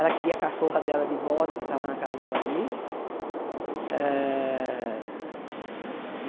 Ela queria a cachorra dela de volta, que tava na casa de uma amiga. Ah e